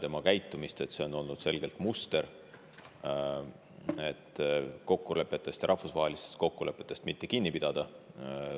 Tema käitumises on selgelt olnud näha see muster, et rahvusvahelistest kokkulepetest ei ole vaja kinni pidada.